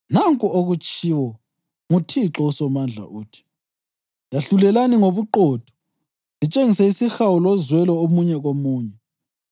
“Nanku okutshiwo nguThixo uSomandla, uthi: ‘Yahlulelani ngobuqotho; litshengise isihawu lozwelo omunye komunye.